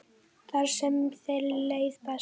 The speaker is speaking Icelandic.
Þar sem þér leið best.